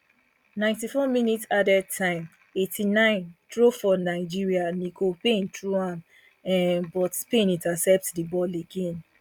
ninety four minutes added time eighty-nine throw for nigeria nicole payne throw am um but spain intercept di ball again